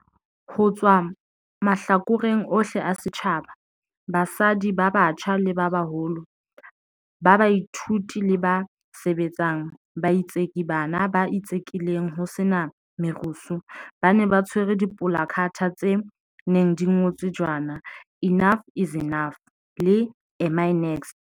Ho tswa mahlakoreng ohle a setjhaba, basadi ba batjha le ba baholo, ba baithuti le ba sebetsang, baitseki bana ba itsekileng ho sena merusu ba ne ba tshwere dipolakhathe tse neng di ngotswe jwana 'Enough is Enough ' le 'Am I next?'.